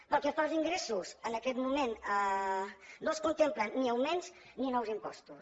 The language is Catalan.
pel que fa als ingressos en aquest moment no es contemplen ni augments ni nous impostos